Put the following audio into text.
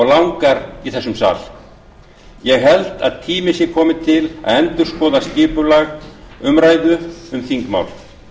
langar í þessum sal ég held að tími sé kominn til að endurskoða skipulag umræðu um þingmál